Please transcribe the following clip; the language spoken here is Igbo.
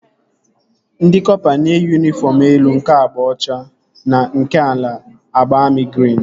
Ndị kọpa na-eyi yunifọm elu nke agba ọcha na nke ala agba amị grin